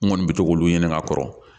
N kɔni bɛ to k'olu ɲini ka kɔrɔ